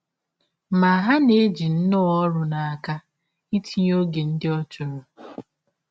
Ma, ha na - eji nnọọ ọrụ n’aka ịtịnye ọge ndị ọ chọrọ.